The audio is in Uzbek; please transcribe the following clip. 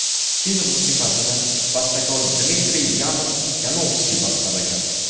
Film musiqasini bastakor Dmitriy Yanov-Yanovskiy bastalagan.